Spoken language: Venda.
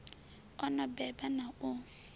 o no beba na u